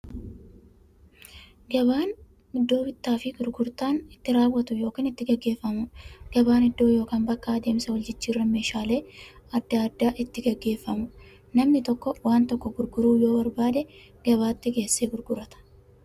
Gabaan iddoo bittaaf gurgurtaan itti raawwatu yookiin itti gaggeeffamuudha. Gabaan iddoo yookiin bakka adeemsa waljijjiiraan meeshaalee adda addaa itti gaggeeffamuudha. Namni tokko waan tokko gurguruu yoo barbaade, gabaatti geessee gurgurata.